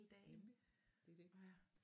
Nemlig det er det